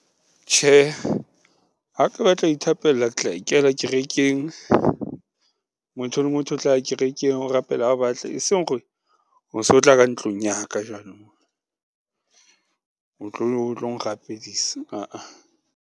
Tjhe, ha ke batla ho ithapella ke tla ikela kerekeng, motho le motho o tla ya kerekeng o rapela ha a batla, eseng hore o so tla ka ntlong ya ka jwanong. O tlong rapedisa aa.